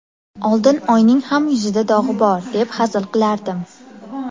Oldin oyning ham yuzida dog‘i bor, deb hazil qilardim.